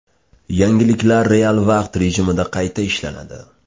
Yangiliklar real vaqt rejimida qayta ishlanadi.